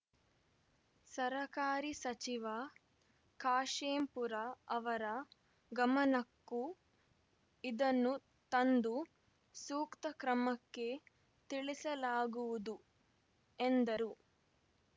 ಸರಕಾರಿ ಸಚಿವ ಖಾಶೆಂಪೂರ ಅವರ ಗಮನಕ್ಕೂ ಇದನ್ನು ತಂದು ಸೂಕ್ತ ಕ್ರಮಕ್ಕೆ ತಿಳಿಸಲಾಗುವುದು ಎಂದರು